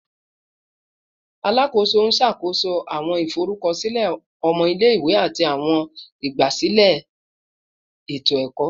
Alakoso n ṣakoso awọn iforukọsilẹ ọmọ ile-iwe ati awọn igbasilẹ eto-ẹkọ